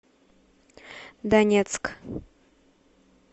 донецк